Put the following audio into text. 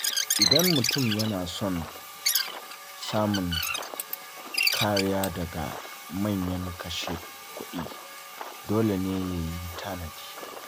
Idan mutum yana son samun kariya daga manyan kashe-kuɗi, dole ne ya yi tanadi.